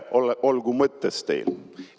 Pere olgu mõttes teil!